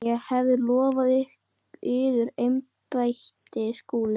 LANDSHÖFÐINGI: Ég hef lofað yður embætti, Skúli.